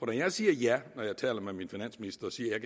når jeg siger ja når jeg taler med min finansminister og siger at